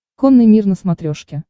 конный мир на смотрешке